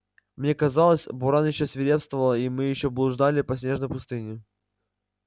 мне казалось буран ещё свирепствовал и мы ещё блуждали по снежной пустыне